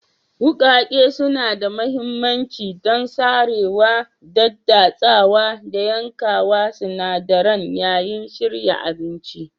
Wuƙaƙe suna da mahimmanci don sarewa, daddatsawa, da yankawa sinadaran yayin shirya abinci.